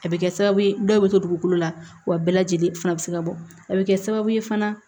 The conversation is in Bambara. A bɛ kɛ sababu ye dɔw bɛ to dugukolo la wa bɛɛ lajɛlen fana bɛ se ka bɔ a bɛ kɛ sababu ye fana